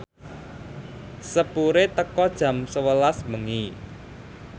sepure teka jam sewelas bengi